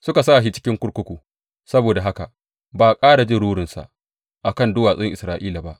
Suka sa shi cikin kurkuku, saboda haka ba a ƙara jin rurinsa a kan duwatsun Isra’ila ba.